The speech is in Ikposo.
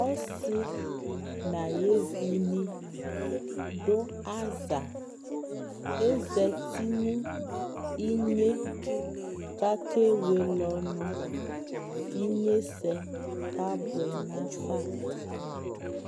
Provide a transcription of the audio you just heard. ɔsii nʋ ayi ɛvini dʋ aza, azati nʋ inyɛ kʋ akɛ wɛlɛ ɔnʋ kʋ inyɛsɛ kabʋɛ nʋ aƒa